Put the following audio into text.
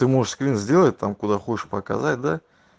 ты можешь скрин сделать там куда хочешь показать да